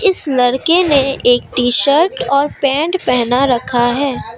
इस लड़के ने एक टीशर्ट और पैंट पहना रखा है।